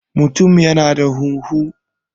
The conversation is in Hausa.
mutum yana da huhu